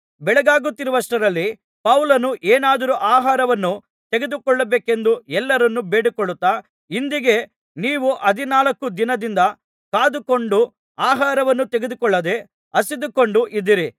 ಬೆಳಗಾಗುತ್ತಿರುವಷ್ಟರಲ್ಲಿ ಪೌಲನು ಏನಾದರೂ ಆಹಾರವನ್ನು ತೆಗೆದುಕೊಳ್ಳಬೇಕೆಂದು ಎಲ್ಲರನ್ನು ಬೇಡಿಕೊಳ್ಳುತ್ತಾ ಇಂದಿಗೆ ನೀವು ಹದಿನಾಲ್ಕು ದಿನದಿಂದ ಕಾದುಕೊಂಡು ಆಹಾರವನ್ನು ತೆಗೆದುಕೊಳ್ಳದೆ ಹಸಿದುಕೊಂಡು ಇದ್ದೀರಿ